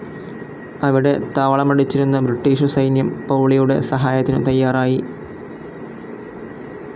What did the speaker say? അവിടെ താവളമടിച്ചിരുന്ന ബ്രിട്ടീഷു സൈന്യം പൗളിയുടെ സഹായത്തിനു തയ്യാറായി.